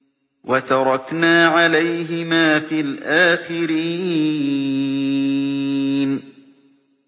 وَتَرَكْنَا عَلَيْهِمَا فِي الْآخِرِينَ